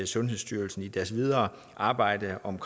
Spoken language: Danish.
sundhedsstyrelsen i deres videre arbejde om